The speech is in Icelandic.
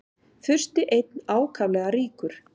Fursti einn ákaflega ríkur.